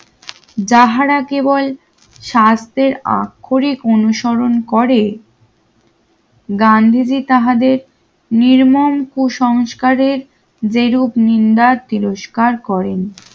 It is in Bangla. যাহারা কেবল স্বাস্থ্যের আক্ষরিক অনুসরণ করে